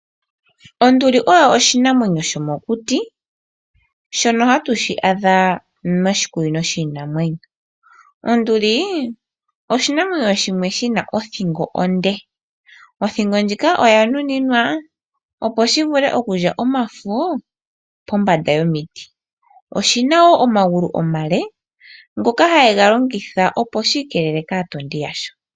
Ondi oyo oshinamwenyo shomokuti, shono ha tu shi adha moshikunino shiinamwenyo. Onduli oyo oshinamwenyo shimwe shina othingo onde, othingo ndjika oya nuninwa opo shi vule okulya omafo pombanda yomiti. Oshina wo omagulu omale ngoka ha yi ga longitha opo shi ikeelele kaatondi yasho.